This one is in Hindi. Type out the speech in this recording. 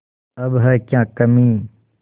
अब है क्या कमीं